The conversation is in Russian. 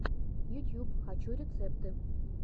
ютьюб хочу рецепты